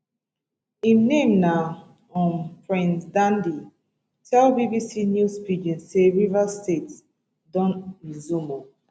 im name na um prince dandy tell bbc news pidgin say rivers state don resume ooo